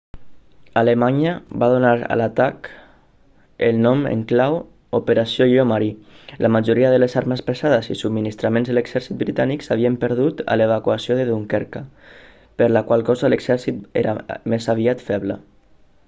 alemanya va donar a l'atac el nom en clau operació lleó marí la majoria de les armes pesades i els subministraments de l'exèrcit britànic s'havien perdut a l'evacuació de dunkerque per la qual cosa l'exèrcit era més aviat feble